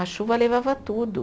A chuva levava tudo.